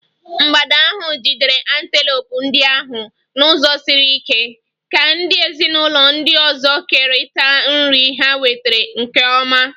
mgbada ahụ jidere antelopes ndị ahụ n'ụzọ siri ike, ka ndị ezinụlọ ndị ọzọ kerịta nri ha nwetara nke ọma.